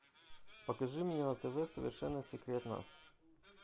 покажи мне на тв совершенно секретно